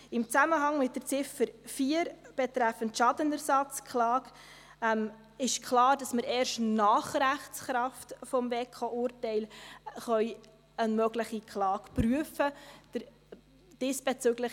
Im Zusammenhang mit der Ziffer 4 betreffend Schadenersatzklage ist klar, dass wir erst nach Rechtskraft des WEKO-Urteils eine mögliche Klage werden prüfen können.